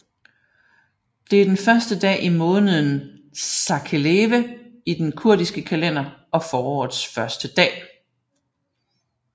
Det er den første dag i måneden Xakelêwe i den kurdiske kalender og forårets første dag